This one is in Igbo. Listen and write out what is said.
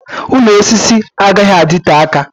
Ụlọ osisi agaghị adịte aka